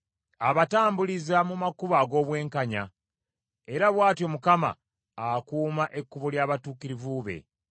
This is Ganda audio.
Abatambuliza mu makubo ag’obwenkanya, era bw’atyo Mukama akuuma ekkubo ly’abatukuvu be.